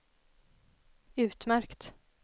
utmärkt